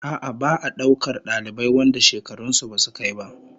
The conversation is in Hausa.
A'a, ba'a daukar dalibai wanda shekarun su basu kai ba